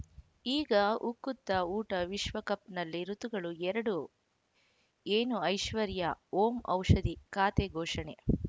ಈಗ ಉಕುತ ಊಟ ವಿಶ್ವಕಪ್‌ನಲ್ಲಿ ಋತುಗಳು ಎರಡು ಏನು ಐಶ್ವರ್ಯಾ ಓಂ ಔಷಧಿ ಖಾತೆ ಘೋಷಣೆ